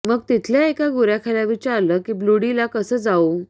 मग तिथल्या एका गुराख्याला विचारलं की ब्लूडी ला कसं जाऊ